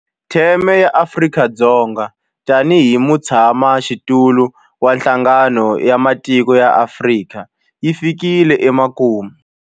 Theme ya Afrika-Dzonga tanihi mutshamaxitulu wa Nhlangano wa Matiko ya Afrika yi fikile emakumu.